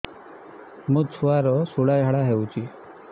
ମୋ ଛୁଆର ସୁଳା ଝାଡ଼ା ହଉଚି